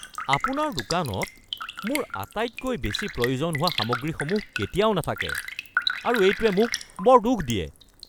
আপোনাৰ দোকানত মোৰ আটাইতকৈ বেছি প্ৰয়োজন হোৱা সামগ্ৰীসমূহ কেতিয়াও নাথাকে আৰু এইটোৱে মোক বৰ দুখ দিয়ে।